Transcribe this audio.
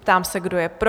Ptám se, kdo je pro?